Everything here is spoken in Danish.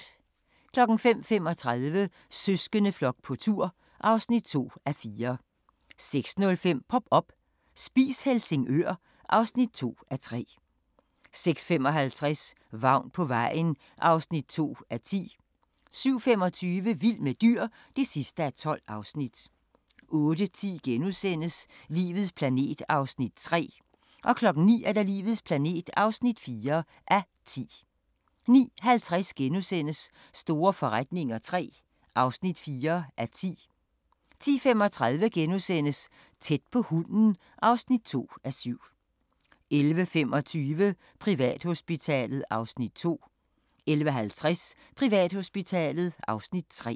05:35: Søskendeflok på tur (2:4) 06:05: Pop up – Spis Helsingør (2:3) 06:55: Vagn på vejen (2:10) 07:25: Vild med dyr (12:12) 08:10: Livets planet (3:10)* 09:00: Livets planet (4:10) 09:50: Store forretninger III (4:10)* 10:35: Tæt på hunden (2:7)* 11:25: Privathospitalet (Afs. 2) 11:50: Privathospitalet (Afs. 3)